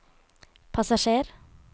passasjer